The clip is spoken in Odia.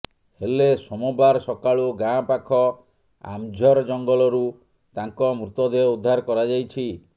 ହେଲେ ସୋମବାର ସକାଳୁ ଗାଁ ପାଖ ଆମ୍ଝୋର୍ ଜଂଗଲରୁ ତାଙ୍କ ମୃତ ଦେହ ଉଦ୍ଧାର କରାଯାଇଛି